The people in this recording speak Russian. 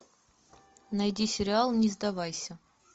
найди сериал не сдавайся